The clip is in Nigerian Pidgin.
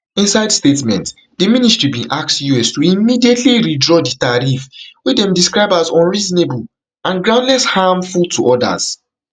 inside statement di ministry bin ask us to immediately withdraw di tariff wey dem describe as unreasonable and groundless harmful to odas